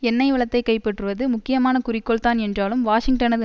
எண்ணெய் வளத்தை கைப்பற்றுவது முக்கியமான குறிக்கோள் தான் என்றாலும் வாஷிங்டனது